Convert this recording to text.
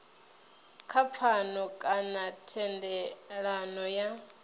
kha pfano kana thendelano ya